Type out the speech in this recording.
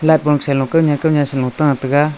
light bol selo kawnyan kawnyan sano ta taiga.